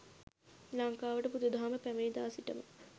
ලංකාවට බුදු දහම පැමිණි දා සිටම